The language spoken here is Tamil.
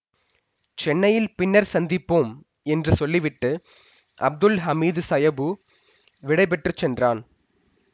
சென்னையில் பின்னர் சந்திப்போம் என்று சொல்லிவிட்டு அப்துல் ஹமீது சாயபு விடை பெற்று சென்றான்